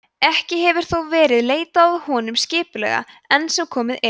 ekki hefur þó verið leitað að honum skipulega enn sem komið er